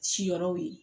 Siyɔrɔw ye